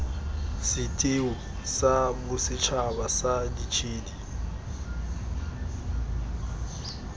setheo sa bosetšhaba sa ditshedi